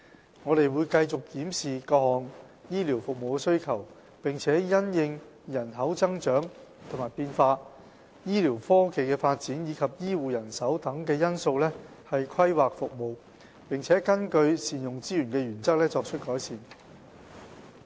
醫管局會繼續檢視各項醫療服務的需求，並因應人口增長和變化、醫療科技的發展及醫護人手等因素以規劃其服務，並根據善用資源的原則，作出改善。